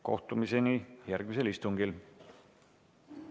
Kohtumiseni järgmisel istungil!